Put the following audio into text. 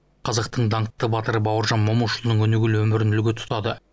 қазақтың даңқты батыры бауыржан момышұлының өнегелі өмірін үлгі тұтады